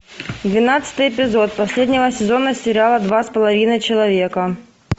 двенадцатый эпизод последнего сезона сериала два с половиной человека